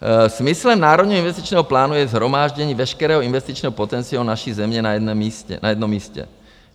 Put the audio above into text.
Smyslem Národního investičního plánu je shromáždění veškerého investičního potenciálu naší země na jednom místě.